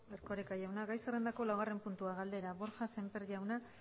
erkoreka jauna gai zerrendako laugarren puntua galdera borja sémper pascual